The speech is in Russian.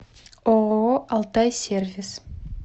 ооо алтай сервис